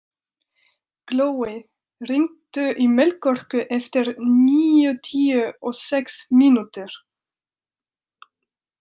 Glói, hringdu í Melkorku eftir níutíu og sex mínútur.